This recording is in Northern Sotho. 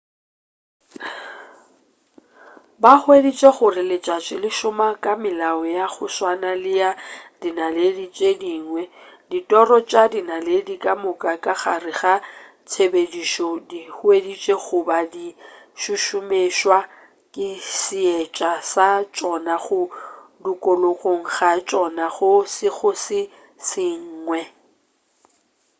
ba hweditše gore letšatši le šoma ka melao ya go swana le ya dinaledi tše dingwe ditiro tša dinaledi ka moka ka gare ga tshepedišo di hweditšwe go ba di šušumetšwa ke seetša sa tšona go dukuloga ga tšona go sego se sengwe